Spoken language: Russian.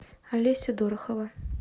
олеся дорохова